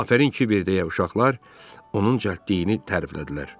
"Afərin Kiber" deyə uşaqlar, onun cəldliyini təriflədilər.